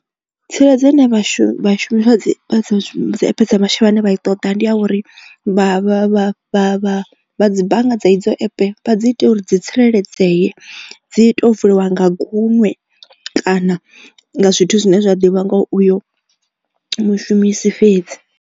Tsireledzo ine vhashumi vhashumi vhane vha i ṱoḓa ndi a uri vha vha vha vha dzi bannga dza idzo epe dzi ita uri dzi tsireledzeye dzi to vuliwa nga gunwe kana ngazwithu zwine zwa ḓivha nga uyo mushumisi fhedzi.